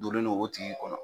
Dolen don o tigii kɔnɔ.